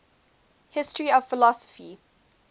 history of philosophy